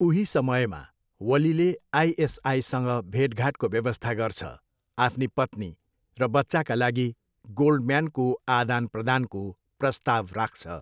उही समयमा, वलीले आइएसआइसँग भेटघाटको व्यवस्था गर्छ, आफ्नी पत्नी र बच्चाका लागि गोल्डम्यानको आदानप्रदानको प्रस्ताव राख्छ।